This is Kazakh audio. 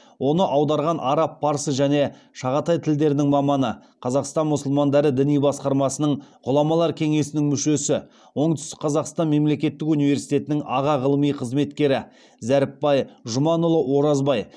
оны аударған араб парсы және шағатай тілдерінің маманы қазақстан мұсылмандары діни басқармасының ғұламалар кенесінің мүшесі оңтүстік қазақстан мемлекетік университетінің аға ғылыми қызметкері зәріпбай жұманұлы оразбай